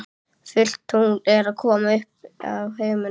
Fullt tungl er að koma upp á himininn.